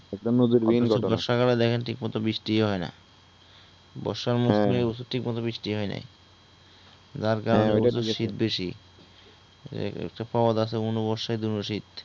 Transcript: একটা নদীর মেইন ঘটনা । বর্ষাকালে দেখেন ঠিকমতো বৃষ্টিও হয় না । বর্ষার মৌসুমে এই বছর ঠিকমতো বৃষ্টিও হয় নাই । যার কারনে এই বছর শীত বেশি । একটা প্রবাদ আছে অনু বর্ষায় দনু শীত